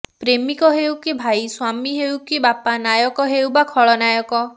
ପ୍ରେମିକ ହେଉ କି ଭାଇ ସ୍ୱାମୀ ହେଉ କି ବାପା ନାୟକ ହେଉ ବା ଖଳନାୟକ